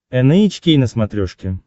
эн эйч кей на смотрешке